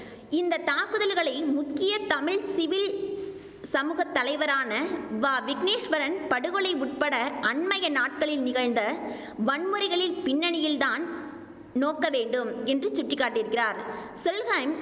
இந்த தாக்குதல்களை முக்கிய தமிழ் சிவில் சமூக தலைவரான வ விக்னேஸ்வரன் படுகொலை உட்பட அண்மைய நாட்களில் நிகழ்ந்த வன்முறைகளின் பின்னணியில்தான் நோக்க வேண்டும் என்று சுட்டிக்காட்டியிருக்கிறார் செல்ஹெய்ம்